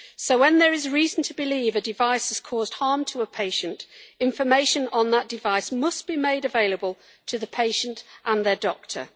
When there is reason to believe a device has caused harm to a patient, information on that device must be made available to the patient and their doctor.